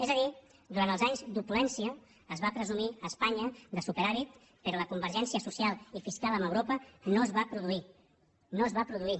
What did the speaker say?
és a dir durant els anys d’opulència es va presumir a espanya de superàvit però la convergència social i fiscal amb europa no es va produir no es va produir